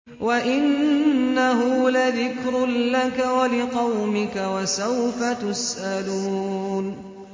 وَإِنَّهُ لَذِكْرٌ لَّكَ وَلِقَوْمِكَ ۖ وَسَوْفَ تُسْأَلُونَ